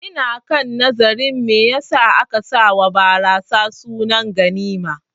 Ina kan nazarin me yasa za'a sawa barasa sunar ganima